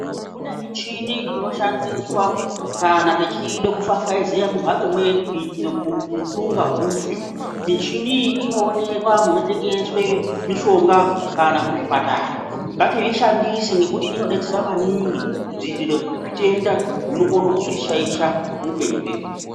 Kune michini inoshandiswa kana techida kufafaiziya mumhatso medu kuitira kuti utunga hufe. Michini iyi inoonekwa munotengeswe mishonga kana muzvipatara. Ngatizvishandise ngekuti inodetsera maningi kudziirire zvitenda zvinokone kuzotishaisha muupenyu hwedu.